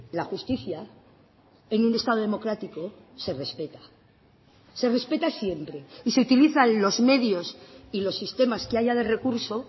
la justicia en un estado democrático se respeta se respeta siempre y se utilizan los medios y los sistemas que haya de recurso